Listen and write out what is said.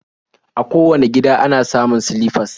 A kowane gida ana samun silifas